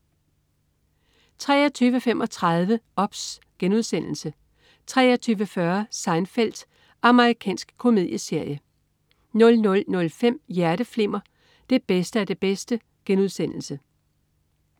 23.35 OBS* 23.40 Seinfeld. Amerikansk komedieserie 00.05 Hjerteflimmer. Det bedste af det bedste*